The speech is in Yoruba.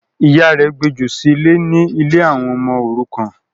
Ìyá rẹ̀ gbejù sílẹ̀ ní ” ilé àwọn ọmọ òrukàn”